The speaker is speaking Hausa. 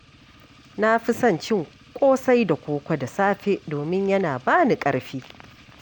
Na fi son cin ƙosai da koko da safe domin yana ba ni ƙarfi.